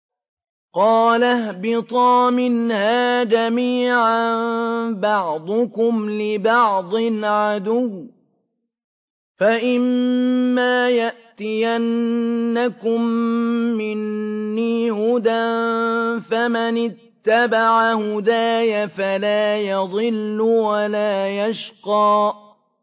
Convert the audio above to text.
قَالَ اهْبِطَا مِنْهَا جَمِيعًا ۖ بَعْضُكُمْ لِبَعْضٍ عَدُوٌّ ۖ فَإِمَّا يَأْتِيَنَّكُم مِّنِّي هُدًى فَمَنِ اتَّبَعَ هُدَايَ فَلَا يَضِلُّ وَلَا يَشْقَىٰ